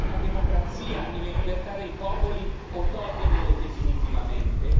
Rispettare la democrazia e le libertà dei popoli o togliergliele definitivamente?